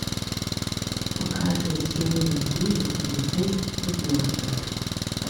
покажи серия девять полицейский с рублевки